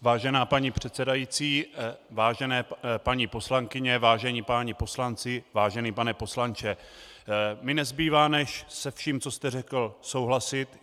Vážená paní předsedající, vážené paní poslankyně, vážení páni poslanci, vážený pane poslanče, mně nezbývá než se vším, co jste řekl, souhlasit.